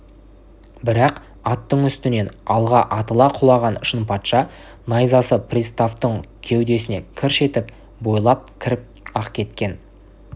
бірақ аттың үстінен алға атыла құлаған шынпатша найзасы приставтың кеудесіне кірш етіп бойлап кіріп-ақ кеткен